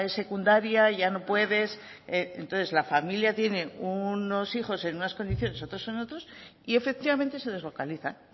secundaria ya no puedes entonces la familia tiene unos hijos en unas condiciones otros en otros y efectivamente se deslocalizan